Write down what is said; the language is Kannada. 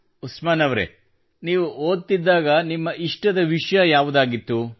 ಉಸ್ಮಾನ್ ಅವರೆ ನೀವು ಓದುತ್ತಿದ್ದಾಗ ನಿಮ್ಮ ಇಷ್ಟದ ವಿಷಯ ಯಾವುದಾಗಿತ್ತು